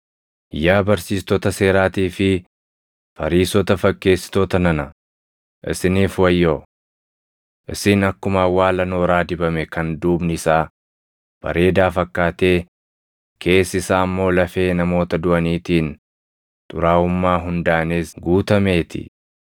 “Yaa barsiistota seeraatii fi Fariisota fakkeessitoota nana, isiniif wayyoo! Isin akkuma awwaala nooraa dibame kan duubni isaa bareedaa fakkaatee keessi isaa immoo lafee namoota duʼaniitiin, xuraaʼummaa hundaanis guutamee ti.